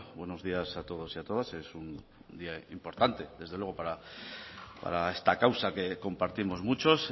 buenos días a todos y a todas es un día importante desde luego para esta causa que compartimos muchos